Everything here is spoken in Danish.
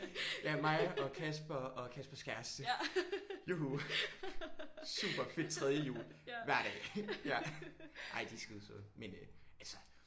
Ja mig og Kasper og Kaspers kæreste. Juhu. Super fedt tredje hjul hver dag ja. Ej de er skide søde men øh altså